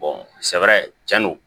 sɛbɛrɛ tiɲɛni don